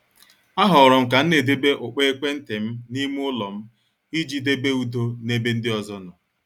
A horom kam na- edebe ukpo ekwentị m n' ime ụlọ m iji debe udo n' ebe ndị ọzọ nọ.